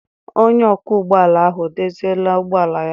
Onye ọkwọ ụgbọala ahụ e doziela ụgbọala ya?